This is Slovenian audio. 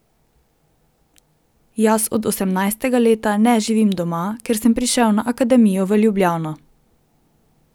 Jaz od osemnajstega leta ne živim doma, ker sem prišel na Akademijo v Ljubljano.